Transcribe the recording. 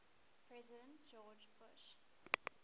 president george bush